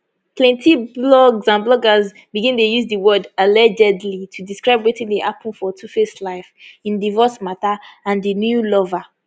plenti blogs and bloggers begin dey use di word allegedly to describe wetin dey happun for tuface life im divorce mata and di new lover